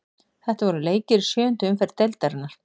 Þetta voru leikir í sjöundu umferð deildarinnar.